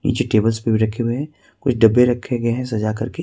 नीचे टेबल्स पे भी रखे हुए हैं कुछ डब्बे रखे गए हैं सजा करके।